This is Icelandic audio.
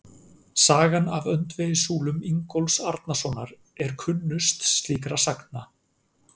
Sagan af öndvegissúlum Ingólfs Arnarsonar er kunnust slíkra sagna.